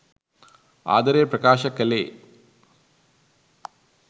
ආදරේ ප්‍රකාශ කළේ.